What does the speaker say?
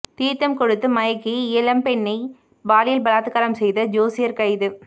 தீர்த்தம் கொடுத்து மயக்கி இளம்பெண்ணை பாலியல் பலாத்காரம் செய்த ஜோசியர் கைது